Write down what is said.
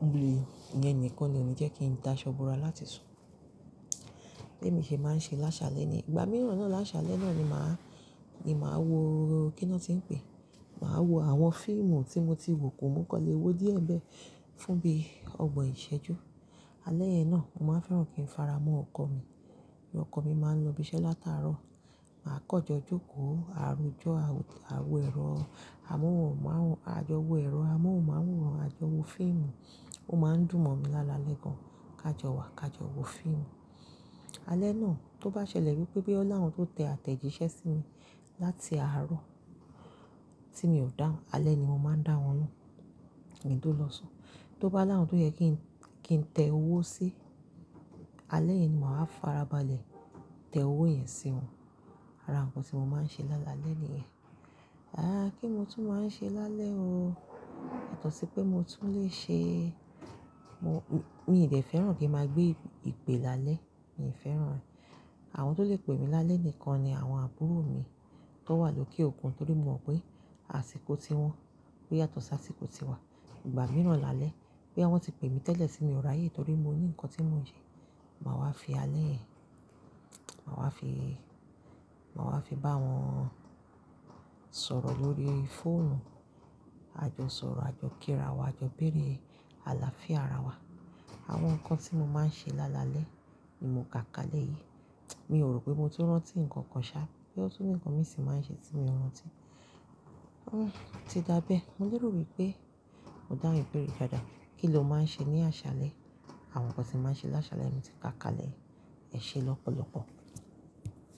Òòru yẹn nìkan ni ò ní jẹ́ kí n dá ṣọ́bùrà láti sùn. Bí èmi ṣe máa ń ṣe láṣálẹ́ ni, ìgbà mìíràn náà lásálẹ́ náà ni màá, ni màá wo kí ni wọ́n ti ń pè? Màá wo àwọn fíìmù tí mo ti wò kó mú kọ́ ilé wò díẹ̀ bẹ́ẹ̀ fún bí ọgbọ̀n ìṣẹ́jú. Alẹ́ yẹn náà, mo máa ń fẹ́ràn kí n fara mọ́ ọkọ mi. Bí ọkọ mi máa ń lọ ibi iṣẹ́ látàárọ̀, màá kọ̀jọ jókòó, àròjọ àwọ̀ ẹ̀rọ amóhùnmáwòrán, àjọwò ẹ̀rọ amóhùnmáwòrán, àjọwò fíìmù. Ó máa ń dùn mọ́ mi lálalẹ́ gan-an. Kájọ wàá, kájọ wò fíìmù. Alẹ́ náà tó bá ṣẹlẹ̀ wípé bí ó láwọn tó tẹ àtẹ̀jíṣẹ́ sí mi láti àárọ̀ tí mi ò dáhùn, alẹ́ ni mo máa ń dáwọn loun kí n tó lọ sùn. Tó bá láwọn tó yẹ kí n tẹ owó sí, alẹ́ yẹn ni màá farabalẹ̀ tẹ owó yẹn sí wọn. Ara nǹkan tí mo máa ń ṣe lálalẹ́ ni yẹn. Àá, kí ni mo tún máa ń ṣe lálẹ́ ó? Ẹ̀tọ̀ sí pé mo tún lè ṣe Mo, mi ò dè fẹ́ràn kí n máa gbé ìpè lálẹ́, mi ò fẹ́ràn rẹ̀. Àwọn tó lè pè mí lálẹ́ nìkan ni àwọn àbúrò mi tó wà lókè òkun torí mo mọ̀ pé àsìkò tí wọ́n pé yàtọ̀ sí àsìkò tí wa. Ìgbà mìíràn lálẹ́, bí wọ́n ti pè mí tẹ́lẹ̀ tí mi ò ráyé torí mo ní nǹkan tí mo ń ṣe, màá wá fi alẹ́ yẹn, màá wá fi, màá wá fi bá wọn sọ̀rọ̀ lórí fóònù, àjọsọ̀rọ̀, àjọkíra wa, àjọbéèrè, àlàáfíà ara wa. Àwọn nǹkan tí mo máa ń ṣe lálalẹ́ ni mo kà kalẹ̀ yìí. Mi ò rò pé mo ti rántí nǹkan kan ṣá, pé ó tún ní nǹkan mi sì máa ń ṣe tí mi ò rántí. Hhm, ti dábẹ́. Mo nílò wípé ó dá ìbéèrè dáadáa. Kí ni o máa ń ṣe ní àṣálẹ́? Àwọn nǹkan tí màá ń ṣe lásálẹ́ mi tí ká kalẹ̀ è ṣe lọ́pọ̀lọpọ̀.